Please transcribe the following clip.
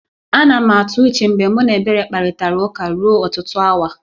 A na m atụ uche mgbe mụ na Ebere kparịtara ụka ruo ọtụtụ awa